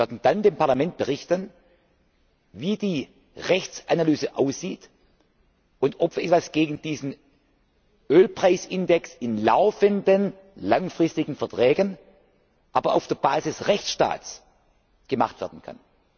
Wir werden dann dem Parlament berichten, wie die Rechtsanalyse aussieht und ob etwas gegen diesen Ölpreisindex in laufenden langfristigen Verträgen, aber auf rechtsstaatlicher Basis, gemacht werden kann.